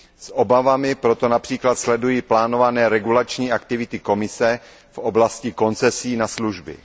S obavami proto například sleduji plánované regulační aktivity Komise v oblasti koncesí na služby.